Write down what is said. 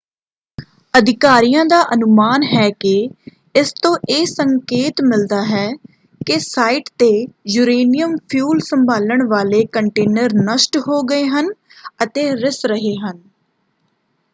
ਅਧਿਕਾਰੀਆਂ ਦਾ ਅਨੁਮਾਨ ਹੈ ਕਿ ਇਸ ਤੋਂ ਇਹ ਸੰਕੇਤ ਮਿਲਦਾ ਹੈ ਕਿ ਸਾਈਟ ‘ਤੇ ਯੂਰੇਨੀਅਮ ਫਿਊਲ ਸੰਭਾਲਣ ਵਾਲੇ ਕੰਟੇਨਰ ਨਸ਼ਟ ਹੋ ਗਏ ਹਨ ਅਤੇ ਰਿੱਸ ਰਹੇ ਹਨ।